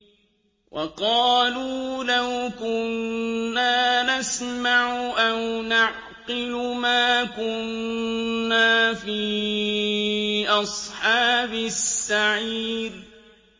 وَقَالُوا لَوْ كُنَّا نَسْمَعُ أَوْ نَعْقِلُ مَا كُنَّا فِي أَصْحَابِ السَّعِيرِ